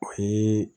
O ye